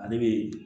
Ale bɛ